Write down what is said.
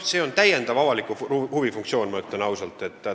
See on täiendav avaliku huvi funktsioon, ma ütlen ausalt.